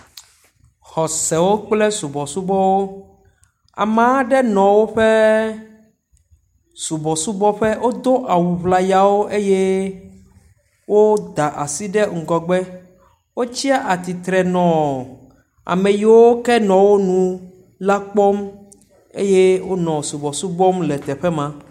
Xɔsewo kple subɔsubɔwo. Ame aɖe nɔ woƒe subɔsubɔƒe. Wodo awu ŋlayawo eye woda asi ɖe ŋgɔgbe. Wotsi atsitre nɔ ame yiwo ke nɔ wonu la kpɔm eye wonɔ subɔsubɔ wɔm le teƒe ma.